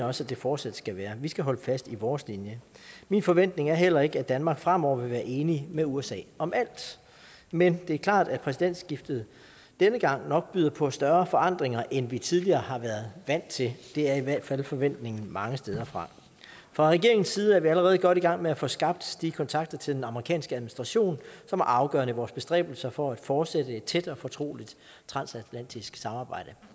også det fortsat skal være vi skal holde fast i vores linje min forventning er heller ikke at danmark fremover vil være enige med usa om alt men det er klart at præsidentskiftet denne gang nok byder på større forandringer end vi tidligere har været vant til det er i hvert fald forventningen mange steder fra fra regeringens side er vi allerede godt i gang med at få skabt de kontakter til den amerikanske administration som er afgørende i vores bestræbelser for at fortsætte et tæt og fortroligt transatlantisk samarbejde